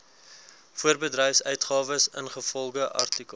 voorbedryfsuitgawes ingevolge artikel